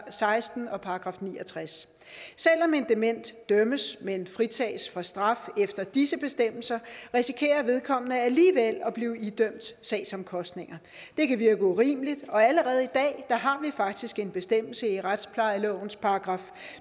seksten og ni og tres selv om en dement dømmes men fritages for straf efter disse bestemmelser risikerer vedkommende alligevel at blive idømt sagsomkostninger det kan virke urimeligt og allerede i dag har vi faktisk en bestemmelse i retsplejelovens §